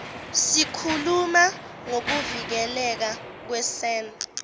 sikhuluma ngokuvikeleka kwesen